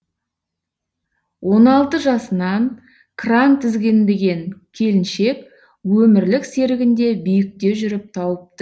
он алты жасынан кран тізгінбеген келіншек өмірлік серігін де биікте жүріп тауыпт